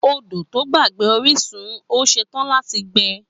Ódò tọ gbà gbàgbẹ òrisún, ò sẹ tàn àtí gbẹ